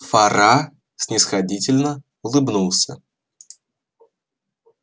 фара снисходительно улыбнулся